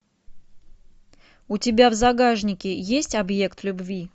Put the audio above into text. у тебя в загашнике есть объект любви